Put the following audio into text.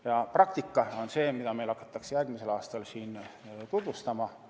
Ja praktika on see, mida meile hakatakse järgmisel aastal siin tutvustama.